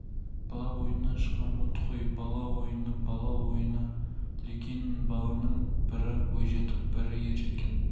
бала ойынынан шыққан от қой бала ойыны бала ойыны лекин баланың бірі бойжетіп бірі ержеткен